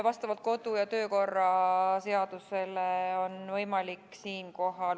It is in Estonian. Head kolleegid!